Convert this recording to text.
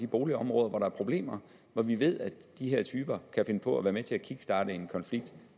boligområder hvor der er problemer og hvor vi ved at de her typer kan finde på at være med til at kickstarte en konflikt